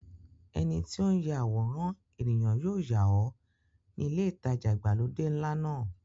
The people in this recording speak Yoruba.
Ẹni tí ó ń ya àwòrán ènìyàn yóò yà ọ́ ní ilé ìtajà ìgbàlódé ńlá náà.